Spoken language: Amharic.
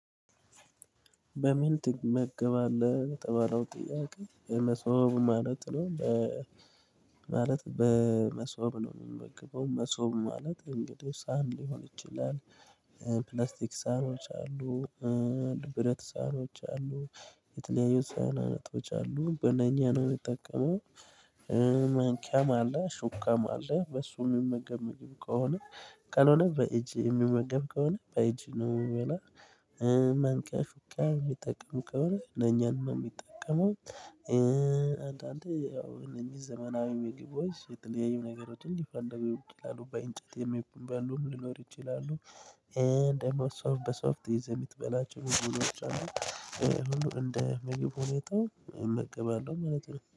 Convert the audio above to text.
በምን ትመገባለህ የተባለው ጥያቄ የመሰው ማለት ነው በመሶብ ነው የሚመግበው መሶብ ማለት እንግዲህ ሳን ሊሆን ይችላል ፕላስቲክ ሳኖች አሉ የብረት ሳኖች አሉ የተለያዩ ሳናቶች ኣሉ በነኛ ነው የምጠቀመው ማንኪያም አለ ሹካም አለ በሱ የምመገብ ምግብ ከሆነ ካልሆነ በእጅ የምመገብ ከሆነ በእጅ ነው ምበላው። መንቀርቀር ምጠቀም ከሆነ ለኛን ነው የሚጠቀመው አንዳንዴ ያው እነዚህ ዘመናዊ ምግቦች የተለያዩ ነገሮችን ሊፈንዱብህ ይችላሉ በእንጨት የሚበሉ ሊኖሩ ይችላሉ ደሞ በሶፍት ይዘህ የምትበላቸው ምግቦች ኣሉ ሁሉ እንደ ምግብ ሁኔታው መቀበል ነው ማለት ነው